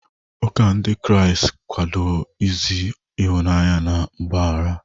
Ụka Ndị Kraịst ga-akwado ozi ịhụnanya na mgbaghara.